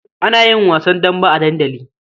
Ana yin wasan dambe a dandali.